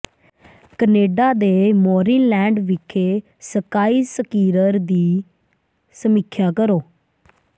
Canada ਦੇ ਮੌਰਿਨਲੈਂਡ ਵਿਖੇ ਸਕਾਈ ਸਕੀਰਰ ਦੀ ਸਮੀਖਿਆ ਕਰੋ